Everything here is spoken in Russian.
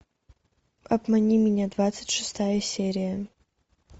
обмани меня двадцать шестая серия